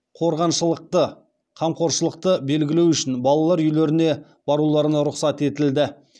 қорғаншылықты қамқоршылықты белгілеу үшін балалар үйлеріне баруларына рұқсат етілді